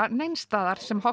neins staðar sem